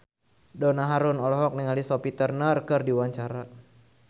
Donna Harun olohok ningali Sophie Turner keur diwawancara